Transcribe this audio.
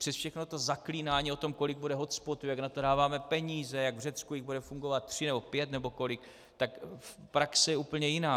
Přes všechna ta zaklínání o tom, kolik bude hotspotů, jak na to dáváme peníze, jak v Řecku jich bude fungovat tři nebo pět nebo kolik, tak praxe je úplně jiná.